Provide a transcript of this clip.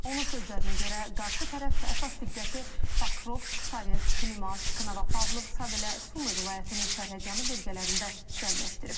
Onun sözlərinə görə, qarşı tərəf əsas diqqəti Pokrovsk, Toretsk, Limansk, Novopavlovsk, habelə Sumi vilayətinin sərhədyanı bölgələrində cəmləşdirib.